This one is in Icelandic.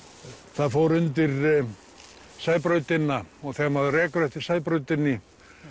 það fór undir Sæbrautina og þegar maður ekur eftir Sæbrautinni